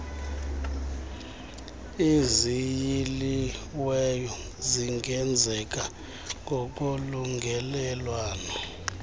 eziyiliweyo zingenzeka ngokolungelelwano